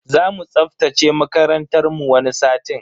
Zamu tsaftace makarantar mu wani satin.